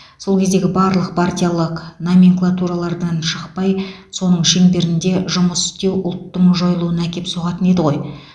сол кездегі барлық партиялық номенклатуралардан шықпай соның шеңберінде жұмыс істеу ұлттың жойылуына әкеп соғатын еді ғой